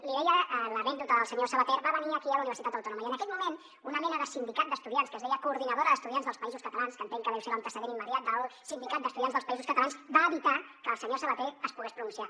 li deia l’anècdota del senyor savater va venir aquí a la universitat autònoma i en aquell moment una mena de sindicat d’estudiants que es deia coordinadora d’estudiants dels països catalans que entenc que deu ser l’antecedent immediat del sindicat d’estudiants dels països catalans va evitar que el senyor savater es pogués pronunciar